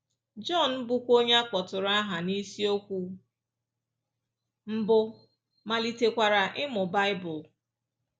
John, bụ́kwa onye a kpọtụrụ aha n’isiokwu mbụ, malitekwara ịmụ Baịbụl.